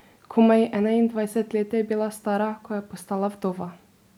Komaj enaindvajset let je bila stara, ko je postala vdova.